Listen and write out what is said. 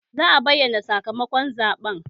Za a bayyana sakamakon zaɓen